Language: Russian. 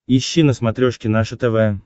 ищи на смотрешке наше тв